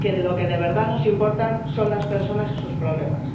que lo que de verdad nos importa son las personas y sus problemas.